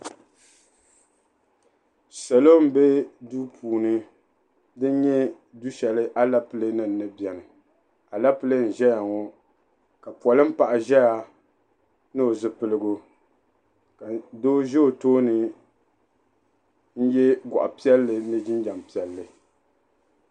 Salo n bɛ duu puuni dini nyɛ du shɛli alaple nima ni bɛni alaple n zɛya ŋɔ ka polin paɣa zɛya ni o zipiligu doo zɛ o tooni n yiɛ gɔɣi piɛli ni jinjɛm piɛli.